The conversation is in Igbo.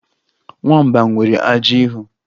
Nwamba nwere ajị ihu